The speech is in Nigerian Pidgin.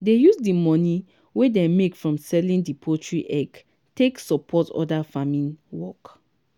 dey use di money wey dem make from selling di poultry egg take support other farming work.